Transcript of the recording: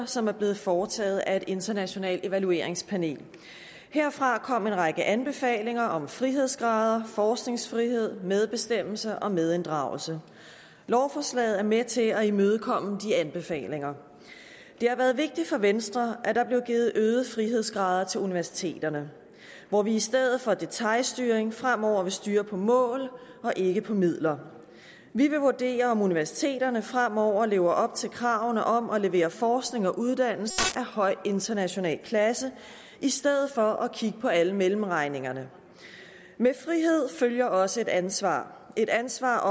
som er blevet foretaget af et internationalt evalueringspanel herfra kom en række anbefalinger om frihedsgrader forskningsfrihed medbestemmelse og medinddragelse lovforslaget er med til at imødekomme de anbefalinger det har været vigtigt for venstre at der blev givet øgede frihedsgrader til universiteterne hvor vi i stedet for detailstyring fremover vil styre på mål og ikke på midler vi vil vurdere om universiteterne fremover lever op til kravene om at levere forskning og uddannelse af høj international klasse i stedet for at kigge på alle mellemregningerne med frihed følger også et ansvar et ansvar